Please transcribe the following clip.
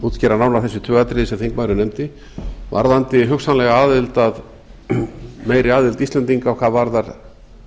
útskýra nánar þessi tvö atriði sem þingmaðurinn nefndi varðandi hugsanlega meiri aðild íslendinga hvað varðar